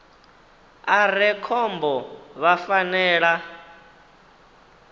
a re khombo vha fanela